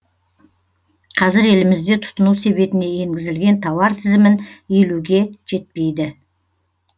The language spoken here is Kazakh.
қазір елімізде тұтыну себетіне енгізілген тауар тізімін елуге жетпейді